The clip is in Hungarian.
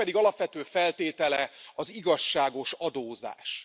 Ennek pedig alapvető feltétele az igazságos adózás.